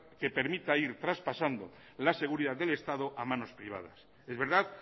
que permita ir traspasando la seguridad del estado a manos privadas es verdad